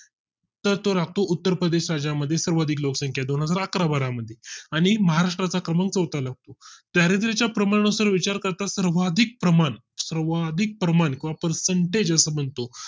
तर तो लागतो उत्तर प्रदेश राज्यां मध्ये सर्वाधिक लोकसंख्या दोनहजार अकरा बारा मध्ये आणि महाराष्ट्रा चा क्रमांक चौथा लागतो दारिद्र च्या प्रमाणा नुसार विचार करता सर्वाधिक प्रमाण सर्वाधिक प्रमाण percentage बनतो